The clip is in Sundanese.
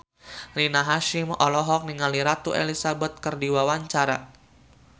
Rina Hasyim olohok ningali Ratu Elizabeth keur diwawancara